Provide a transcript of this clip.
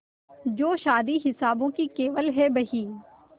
जो शादी हिसाबों की केवल है बही